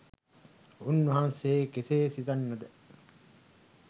උන්වහන්සේ කෙසේ සිතන්නද?